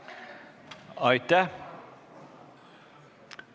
Aitäh!